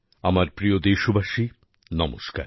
আমার প্রিয় দেশবাসী নমস্কার